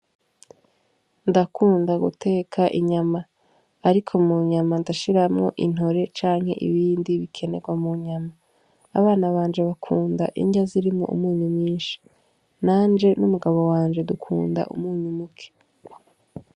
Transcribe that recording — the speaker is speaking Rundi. Ndakunda guteka inyama, ariko mu nyama ndashiramwo intore canke ibindi bikenerwa mu nyama abana banje bakunda indya zirimwo umunyu myinshi nanje n'umugabo wanje dukunda umunyu muke.